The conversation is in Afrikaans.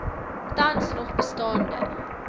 tans nog bestaande